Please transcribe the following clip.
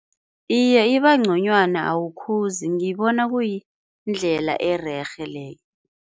Iye iba nconywana awukhuzi, ngibona kuyindlela ererhe leyo.